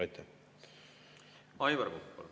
Aivar Kokk, palun!